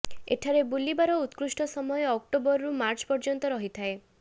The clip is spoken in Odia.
ଏଠାରେ ବୁଲିବାର ଉତ୍କୃଷ୍ଟ ସମୟ ଅକ୍ଟୋବର ରୁ ମାର୍ଚ୍ଚ ପର୍ଯ୍ୟନ୍ତ ରହିଥାଏ